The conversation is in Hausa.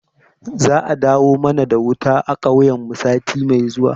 Za a dawo mana da wuta a kauyen mu sati mai zuwa